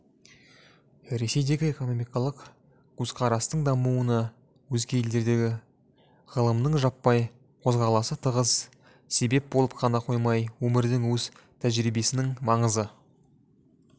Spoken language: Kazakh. ресейдегі экономикалық көзқарастың дамуына өзге елдердегі ғылымының жаппай қозғаласы тығыз себеп болып қана қоймай өмірдің өз тәжірибесінің маңызы